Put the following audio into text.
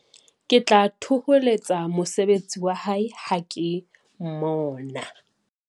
ke tla thoholetsa mosebetsi wa hae ha ke mmona